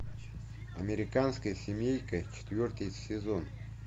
американская семейка четвертый сезон